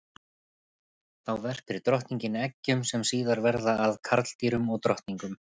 Þá verpir drottningin eggjum sem síðar verða að karldýrum og drottningum.